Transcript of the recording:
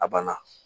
A banna